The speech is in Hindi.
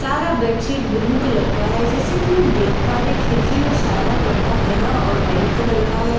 चारा बैडसीट बुलु कलर का है जैसा कि हम देख पा रहे हैं खिरकी में सारा पर्दा हरा और ब्‍हाईट कलर का है जैसा कि --